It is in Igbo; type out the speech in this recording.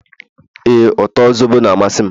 ee, uto zobo na-amasị m